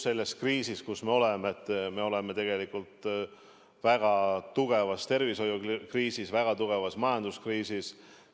Ma arvan, et me oleme väga tugevas tervishoiukriisis ja väga tugevas majanduskriisis.